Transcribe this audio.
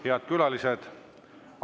Head külalised!